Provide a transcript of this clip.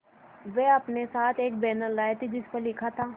वे अपने साथ एक बैनर लाए थे जिस पर लिखा था